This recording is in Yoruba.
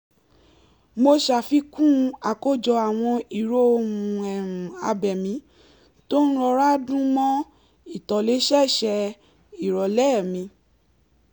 mo sàfikún àkójọ àwọn ìró ohun-abẹ̀mí tó ń rọra dún mọ́ ìtòlẹ́sẹẹsẹ ìrọ̀lẹ́ mi